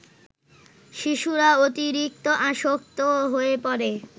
শিশুরা অতিরিক্ত আসক্ত হয়ে পড়ে